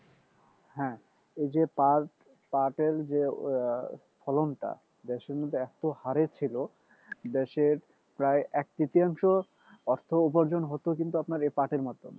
হ্যাঁ এইযে পাট পাটের যে ফলনটা দেশের মধ্যে এত হারে ছিল দেশের প্রায় এক তৃতীয়াংশ অর্থ উপার্জন হত কিন্তু আপনার এই পাটের মাধ্যমেই